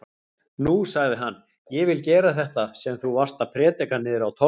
Nú, sagði hann, ég vil gera þetta sem þú varst að prédika niðri á torgi.